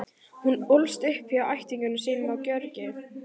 Hún ólst upp hjá ættingjum sínum á Gjögri.